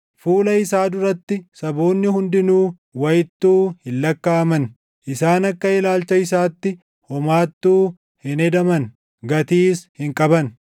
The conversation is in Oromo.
Fuula isaa duratti saboonni hundinuu wayittuu hin lakkaaʼaman; isaan akka ilaalcha isaatti homaattuu hin hedaman; gatiis hin qaban.